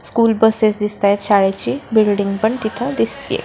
School buses दिसताय शाळेची building पण तिथ दिसतेय.